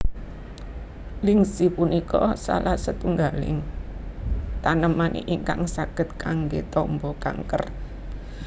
Lingzhi punika salah setunggaling taneman ingkang saged kanggé tamba kanker